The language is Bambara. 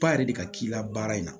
Ba yɛrɛ de ka k'i la baara in na